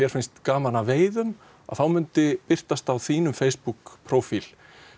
finnst gaman að veiða þá myndi birtast á þínum Facebook prófíl